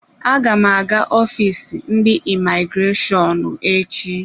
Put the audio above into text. Aga m aga ọfịs ndị imigreshọnụ echi.